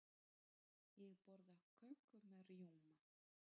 Ég borða köku með rjóma.